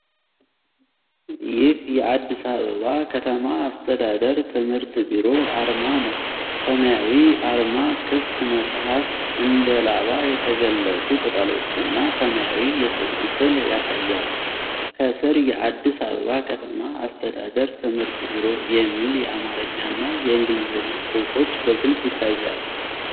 ይህ የአዲስ አበባ ከተማ አስተዳደር ትምህርት ቢሮ አርማ ነው። ሰማያዊው አርማ ክፍት መጽሐፍ፣ እንደ ላባ የተገለጹ ቅጠሎችና ሰማያዊ የሰው ምስል ያሳያል። ከሥር "የአዲስ አበባ ከተማ አስተዳደር ትምህርት ቢሮ" የሚል የአማርኛና የእንግሊዝኛ ጽሑፎች በግልጽ ይታያሉ።